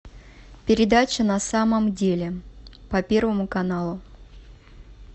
передача на самом деле по первому каналу